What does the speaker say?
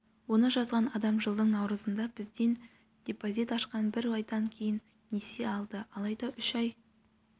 оны жазған адам жылдың наурызында бізден депозит ашқан бір айдан кейін несие алды алайда үш ай